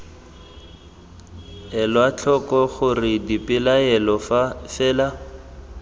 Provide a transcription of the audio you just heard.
elwa tlhoko gore dipelaelo fela